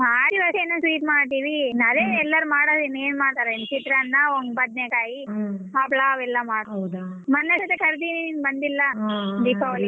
ಮಾಡ್ತೀವಿ ಅದೆ sweet ಮಾಡ್ತೀವಿ ಅದೇ ಎಲ್ಲಾರ್ ಮಾಡೋದೆ ಇನ್ನೆನ್ ಮಾಡ್ತಾರೆ ಚಿತ್ರಾನ್ನ ಬದ್ನೇಕಾಯಿ ಹಪ್ಳ ಅವೇಲ್ಲಾ ಮಾಡ್ತೀವಿ ಮೊನ್ನೆ ಅಷ್ಟೇ ಕರ್ದಿನಿ ನೀನ್ ಬಂದಿಲ್ಲ ದೀಪಾವಳಿಗೆ.